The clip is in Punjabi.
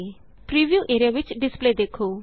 ਪ੍ਰੀਵਿਊ ਏਰੀਆ ਵਿਚ ਡਿਸਪਲੇ ਦੇਖੋ